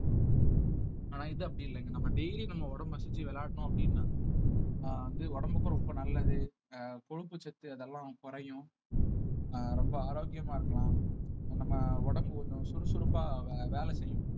ஆனா இது அப்படி இல்லை இங்க நம்ம daily நம்ம உடம்ப சுத்தி விளையாடினோம் அப்படின்னா அஹ் வந்து உடம்புக்கும் ரொம்ப நல்லது அஹ் கொழுப்புச்சத்து அதெல்லாம் குறையும் அஹ் ரொம்ப ஆரோக்கியமா இருக்கலாம் நம்ம உடம்பு கொஞ்சம் சுறுசுறுப்பா வே~ வேலை செய்யும்